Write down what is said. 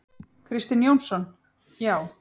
Kristinn Jónsson: Já.